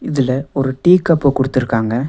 இதுல ஒரு டீ கப்ப குடுத்துருக்காங்க.